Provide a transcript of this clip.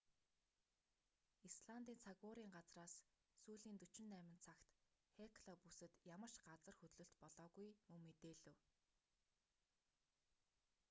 исландын цаг уурын газраас сүүлийн 48 цагт хекла бүсэд ямар ч газар хөдлөлт болоогүй мөн мэдээлэв